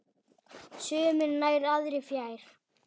Sumir nær, aðrir fjær.